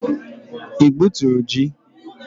Ị gbuturu ji?